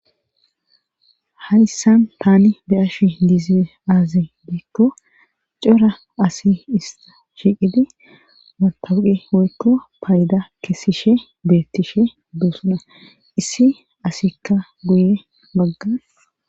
hayssan taani beyashi diize aaze beekko cora asi ista shiqidi matawuqe woykko payda kessishe beettishe duosuna issi asikka guye baggan